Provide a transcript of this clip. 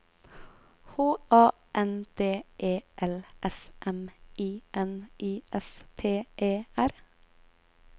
H A N D E L S M I N I S T E R